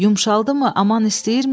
Yumşaldımı, aman istəyirmi?